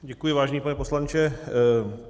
Děkuji, vážený pane poslanče.